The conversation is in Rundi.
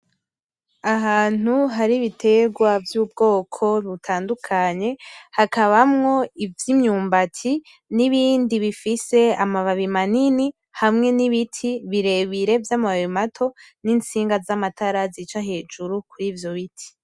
Ahantu hari ibiterwa vyubwoko butandukanye hakabamwo ivyimyumbati n’ibindi bifise amababi manini hamwe n’ibiti birebire vy’amababi mato n’intsinga zamatara zica hejuru kurivyo biti